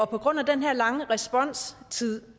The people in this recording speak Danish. på grund af den her lange responstid